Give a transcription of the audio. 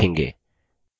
adduser